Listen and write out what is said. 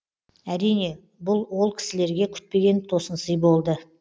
әрине бұл ол кісілерге күтпеген тосынсый болды